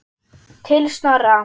Til Snorra.